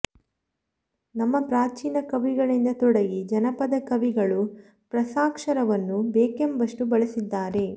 ನಮ್ಮ ಪ್ರಾಚೀನ ಕವಿಗಳಿಂದ ತೊಡಗಿ ಜನಪದ ಕವಿಗಳು ಪ್ರಸಾಕ್ಷರವನ್ನು ಬೇಕೆಂಬಷ್ಟು ಬಳಸಿದ್ದಾರೆ